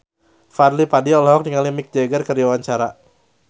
Fadly Padi olohok ningali Mick Jagger keur diwawancara